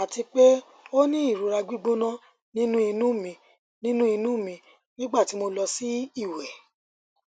ati pe o ni irora gbigbona ninu inu mi ninu inu mi nigbati mo lọ si iwẹ